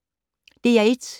DR1